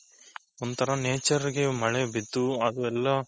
ಒಂಥರ nature ಗೆ ಮಳೆ ಬಿದ್ದು ಅದೆಲ್ಲ